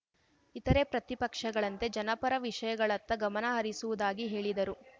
ಇತರೆ ಪ್ರತಿಪಕ್ಷಗಳಂತೆ ಜನಪರ ವಿಷಯಗಳತ್ತ ಗಮನಹರಿಸುವುದಾಗಿ ಹೇಳಿದರು